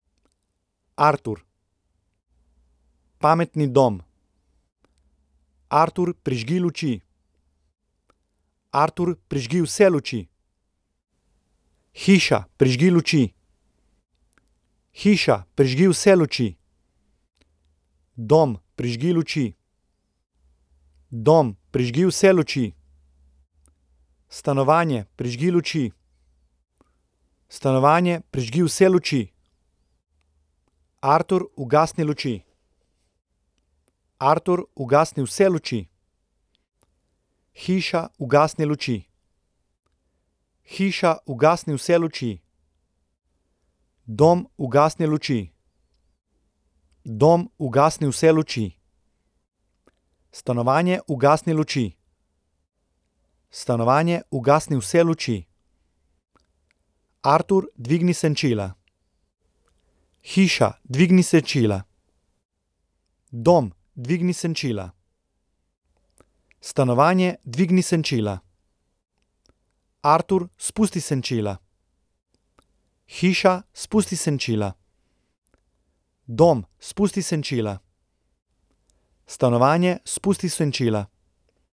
Artur. Pametni dom. Artur, prižgi luči. Artur, prižgi vse luči. Hiša, prižgi luči. Hiša, prižgi vse luči. Dom, prižgi luči. Dom, prižgi vse luči. Stanovanje, prižgi luči. Stanovanje, prižgi vse luči. Artur, ugasni luči. Artur, ugasni vse luči. Hiša, ugasni luči. Hiša, ugasni vse luči. Dom, ugasni luči. Dom, ugasni vse luči. Stanovanje, ugasni luči. Stanovanje, ugasni vse luči. Artur, dvigni senčila. Hiša, dvigni senčila. Dom, dvigni senčila. Stanovanje, dvigni senčila. Artur, spusti senčila. Hiša, spusti senčila. Dom, spusti senčila. Stanovanje, spusti senčila.